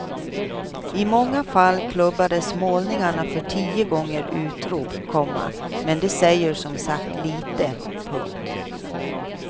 I många fall klubbades målningarna för tio gånger utrop, komma men det säger som sagt lite. punkt